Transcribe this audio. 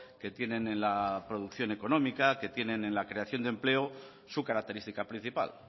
que tienen en la producción económica que tienen en la creación de empleo su característica principal